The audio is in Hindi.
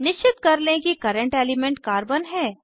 निश्चित कर लें कि कर्रेंट एलिमेंट कार्बन है